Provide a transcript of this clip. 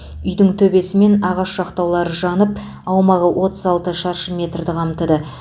үйдің төбесі мен ағаш жақтаулары жанып аумағы отыз алты шаршы метрді қамтыды